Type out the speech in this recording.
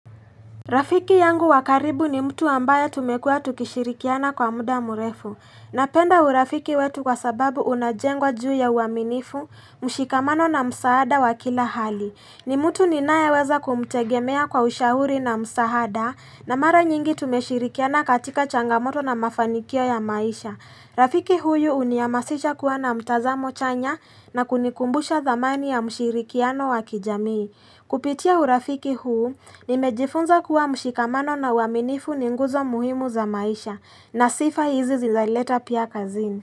Rafiki yangu wa karibu ni mtu ambaye tumekua tukishirikiana kwa muda mrefu. Napenda urafiki wetu kwa sababu unajengwa juu ya uaminifu, mshikamano na msaada wa kila hali. Ni mtu ninayeweza kumtegemea kwa ushauri na msaada na mara nyingi tumeshirikiana katika changamoto na mafanikio ya maisha. Rafiki huyu huniamasisha kua na mtazamo chanya na kunikumbusha thamani ya mshirikiano wa kijamii. Kupitia urafiki huu, nimejifunza kuwa mshikamano na uaminifu ni nguzo muhimu za maisha na sifa hizi zinaleta pia kazini.